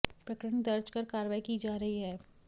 प्रकरण दर्ज कर कार्रवाई की जा रही है